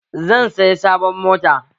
Zan saya sabon mota